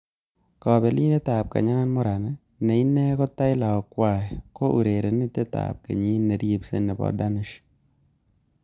Kabelindet ab Kenya Morans ne ine ko Taylor Ongwae ko urerenindet ab kenyit niribsei nebo Danish.